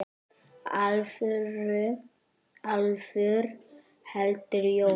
Álfur heldur jól.